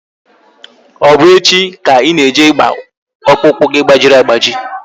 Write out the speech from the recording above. Ọ bụ echi ka Ị na-eje ịgba ọkpụkpụ gị gbajiri agbaji?